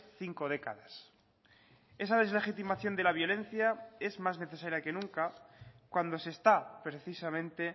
cinco décadas esa deslegitimación de la violencia es más necesaria que nunca cuando se está precisamente